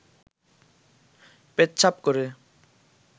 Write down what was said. পেচ্ছাব করে